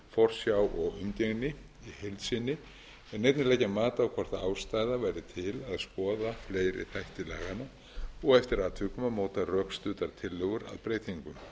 foreldraskyldur forsjá og umgengni í heild sinni en einnig leggja mat á hvort ástæða væri til að skoða fleiri þætti laganna og eftir atvikum að móta rökstuddar tillögur að breytingum